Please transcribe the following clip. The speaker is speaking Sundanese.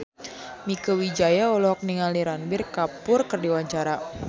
Mieke Wijaya olohok ningali Ranbir Kapoor keur diwawancara